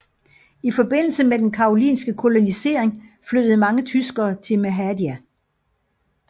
I forbindelse med den karolinske kolonisering flyttede mange tyskere til Mehadia